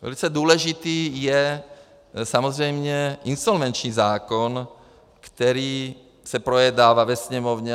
Velice důležitý je samozřejmě insolvenční zákon, který se projednával ve Sněmovně.